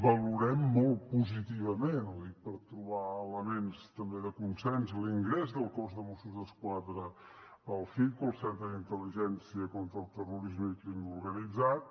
valorem molt positivament ho dic per trobar elements també de consens l’ingrés del cos de mossos d’esquadra al citco al centre d’intel·ligència contra el terrorisme i el crim organitzat